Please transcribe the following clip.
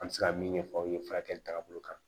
An bɛ se ka min ɲɛfɔ aw ye furakɛli tagabolo kan